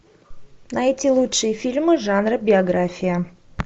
найти лучшие фильмы жанра биография